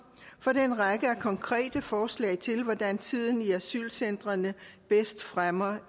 for en række konkrete forslag til hvordan tiden i asylcentrene bedst fremmer